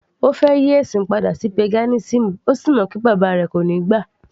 Ó fẹ́ yí ẹ̀sìn padà sí paganism,ó sì mọ̀ pé bàbá rẹ̀ kò níí gbà